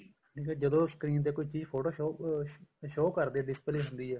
ਠੀਕ ਏ ਜਦੋਂ screen ਤੇ ਕੋਈ ਚੀਜ਼ ਫੋਟੋ show ਕਰਦੀ ਹੈ display ਹੁੰਦੀ ਆ